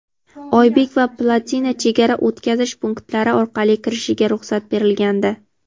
"Oybek" va "Plotina" chegara o‘tkazish punktlari orqali kirishiga ruxsat berilgandi.